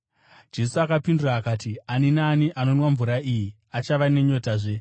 Jesu akapindura akati, “Ani naani anonwa mvura iyi achava nenyotazve,